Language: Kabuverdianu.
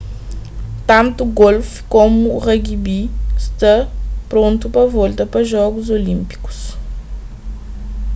tantu golf komu rugby sta prontu pa volta pa jogus olínpikus